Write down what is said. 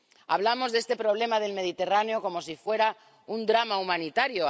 Hablamos de este problema del Mediterráneo como si fuera un drama humanitario.